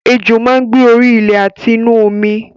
Ejò máa ń gbé orí ilé àti inú omi